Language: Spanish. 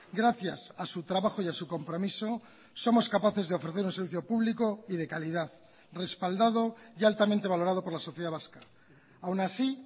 gracias a su trabajo y a su compromiso somos capaces de ofrecer un servicio público y de calidad respaldado y altamente valorado por la sociedad vasca aún así